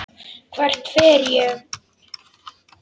Hvert fer ég?